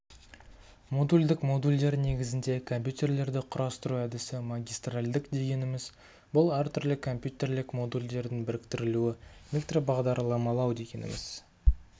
модульдік модульдер негізінде компьютерлерді құрастыру әдісі магистральдік дегеніміз бұл әр түрлі компьютерлік модульдердің біріктірілуі микробағдарламалау дегеніміз